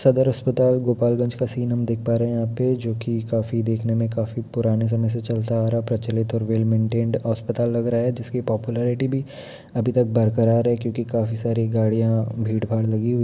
सदर अस्पताल गोपाल गंज का सीन हम देख पा रहे हैं यहाँ पे जो कि काफी देखने में काफी पुराने समय से चलता आ रहा प्रचलित और वेल मैनटैनेड अस्पताल लग रहा है जिसके पॉपुलैरिटी भी अभी बरक़रार है क्योकि काफी सारी गाड़ियाँ भीड़ भाड़ लगी हुई--